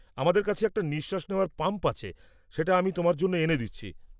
আমাদের কাছে একটা নিঃশ্বাস নেওয়ার পাম্প আছে; সেটা আমি তোমার জন্য এনে দিচ্ছি।